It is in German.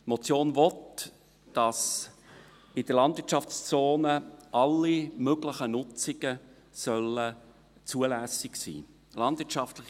Die Motion will, dass in der Landwirtschaftszone alle möglichen Nutzungen zulässig sein sollen.